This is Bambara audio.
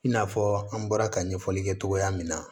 I n'a fɔ an bɔra ka ɲɛfɔli kɛ cogoya min na